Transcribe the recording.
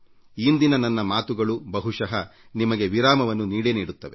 ಇಂದಿನ ನನ್ನ ಮಾತುಗಳು ಬಹುಶಃ ನಿಮಗೆ ವಿರಾಮವನ್ನು ನೀಡೇ ನೀಡುತ್ತವೆ